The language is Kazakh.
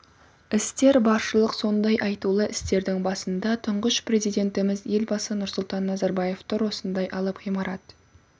істер баршылық сондай айтулы істердің басында тұңғыш президентіміз елбасы нұрсұлтан назарбаев тұр осындай алып ғимарат